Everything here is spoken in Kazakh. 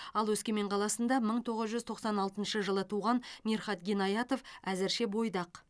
ал өскемен қаласында мың тоғыз жүз тоқсан алтыншы жылы туған мирхат гинаятов әзірше бойдақ